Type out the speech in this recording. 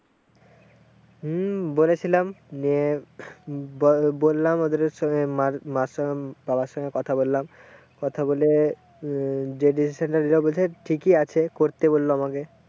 হম বলেছিলাম যে বললাম ওদের সঙ্গে মায়ের সঙ্গে বাবার সঙ্গে কথা বললাম, কথা বলে যে decision বলছে ঠিকই আছে, করতে বললো আমাকে।